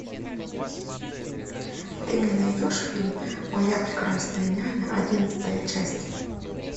ты мне найдешь фильм моя прекрасная няня одиннадцатая часть